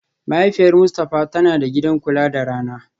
Mahaifiyar Mustafa tana da gidan kula da rana